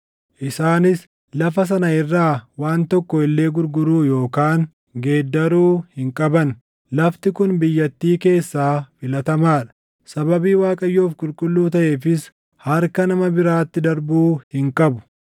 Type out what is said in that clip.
Isaanis lafa sana irraa waan tokko illee gurguruu yookaan geeddaruu hin qaban. Lafti kun biyyattii keessaa filatamaa dha; sababii Waaqayyoof qulqulluu taʼeefis harka nama biraatti darbuu hin qabu.